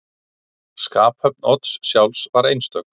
Skaphöfn Odds sjálfs var einstök.